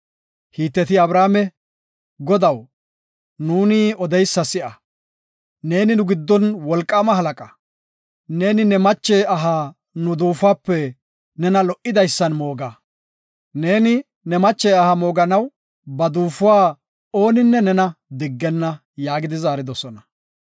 Hiteti Abrahaame, “Godaw, nuuni odeysa si7a; neeni nu giddon wolqaama halaqa; neeni ne mache aha nu duufuwape nena lo77idason mooga; neeni ne mache aha mooganaw ba duufuwa oonika nena diggenna” yaagi zaaridosona.